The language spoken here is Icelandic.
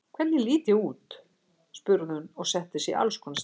Hvernig lít ég út? spurði hún og setti sig í alls konar stellingar.